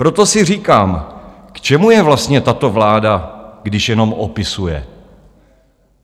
Proto si říkám, k čemu je vlastně tato vláda, když jenom opisuje?